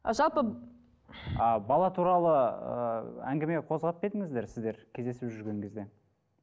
ы жалпы ы бала туралы ыыы әңгіме қозғап па едіңіздер сіздер кездесіп жүрген кезде